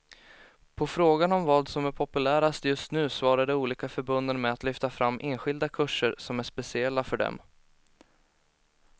På frågan om vad som är populärast just nu svarar de olika förbunden med att lyfta fram enskilda kurser som är speciella för dem.